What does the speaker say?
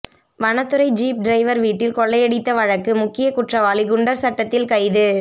வனத்துறை jeep driver வீட்டில் கொள்ளையடித்த வழக்கு முக்கிய குற்றவாளி குண்டர் சட்டத்தில் கைது